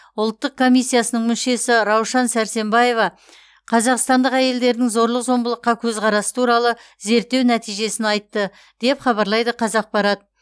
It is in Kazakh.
ұлттық комиссиясының мүшесі раушан сәрсембаева қазақстандық әйелдердің зорлық зомбылыққа көзқарасы туралы зерттеу нәтижесін айтты деп хабарлайды қазақпарат